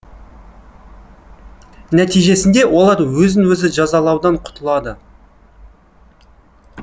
нәтижесінде олар өзін өзі жазалаудан құтылады